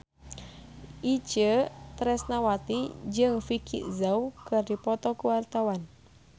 Itje Tresnawati jeung Vicki Zao keur dipoto ku wartawan